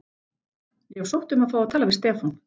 Ég hef sótt um að fá að tala við Stefán.